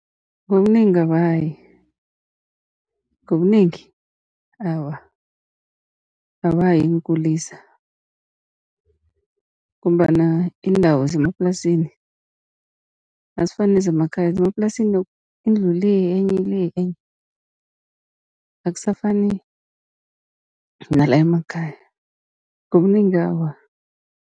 Ngobunengi abayi, ngobunengi awa abayi eenkulisa, ngombana iindawo zemaplasini azifani nezemakhaya. Zemaplasini indlu ile enye ile enye, akusafani nala emakhaya ngobunengi awa.